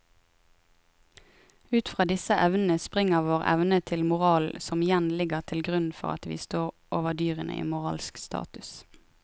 Ut fra disse evnene springer vår evne til moral som igjen ligger til grunn for at vi står over dyrene i moralsk status.